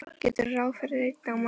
Gerðu ráð fyrir einni á mann.